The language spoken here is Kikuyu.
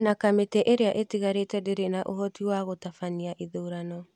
Na kamĩtĩ ĩrĩa ĩtigarĩte ndĩrĩ na ũhoti wa gũtabania ithurano